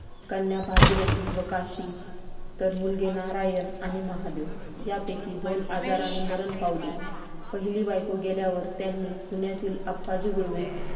कन्या भागीरथी व काशी तर मुलगे नारायण आणि महादेव. यापैकी दोन आजाराने मरण पावले. पहिली बायको गेल्यानंतर त्यांनी पुण्यातील आप्पाजी गुळवे